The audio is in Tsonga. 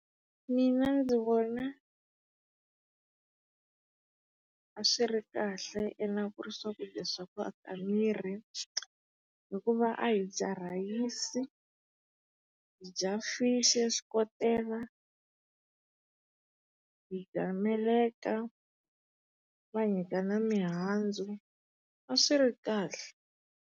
Mina ndzi vona a swi ri kahle ene a ku ri swakudya swa ku aka miri. Hikuva a hi dya rhayisi, hi dya fishi ya xikotela, hi dya meleka, va hi nyika na mihandzu. A swi ri kahle.